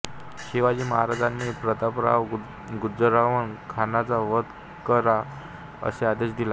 शिवाजी महाराजांनी प्रतापराव गुजरांना खानाचा वध करा असे आदेश दिला